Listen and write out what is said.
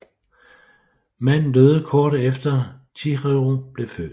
Manden døde kort efter Chihiro blev født